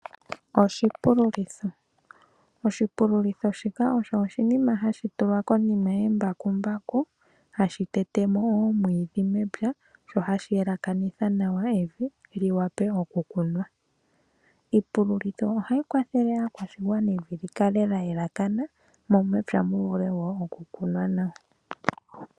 Oshipululitho, oshipululitho shika osho oshinima hashi tulwa konima yembakumbaku hashi tete mo omwiidhi mepya sho hashi yelekanitha nawa evi liwape oku kunwa. Iipululitho ohayi kwathele aakwashigwana evi li kale lya elekathana mo mepya mu vule wo oku kunwa nawa.